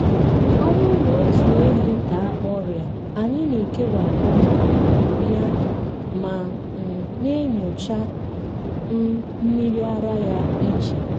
ọ bụrụ na otu ehi daa ọrịa anyị na-ekewapụ um ya ma um na-enyocha um mmiri ara ya iche.